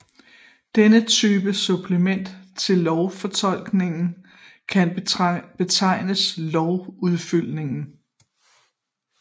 Denne type supplement til lovfortolkning kan betegnes lovudfyldning